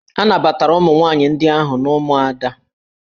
A nabatara ụmụ nwaanyị ndị ahụ n'ụmụada